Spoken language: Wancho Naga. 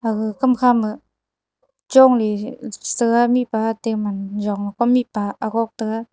agaga kamkha ma chong nyi setega mihpa te man jong Kom mihpa agok taga.